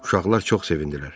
Uşaqlar çox sevindilər.